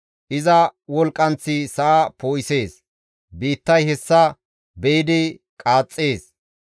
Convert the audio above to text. Iza wolqqanththi sa7a poo7isees; biittay hessa be7idi qaaxxees.